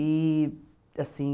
E, assim...